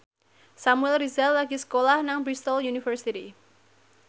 Samuel Rizal lagi sekolah nang Bristol university